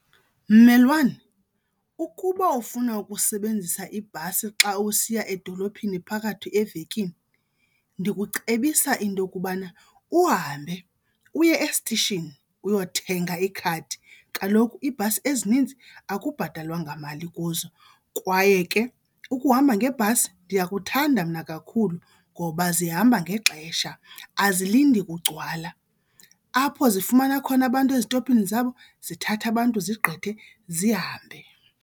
Mmelwane, ukuba ufuna ukusebenzisa ibhasi xa usiya edolophini phakathi evekini, ndikucebisa into yokubana uhambe uye esitishini uyothenga ikhadi. Kaloku ibhasi ezininzi akubhatalwa ngamali kuzo. Kwaye ke ukuhamba ngebhasi ndiyakuthanda mna kakhulu ngoba zihamba ngexesha, azilindi kugcwala. Apho zifumana khona abantu ezitophini zabo, zithatha abantu zigqithe zihambe.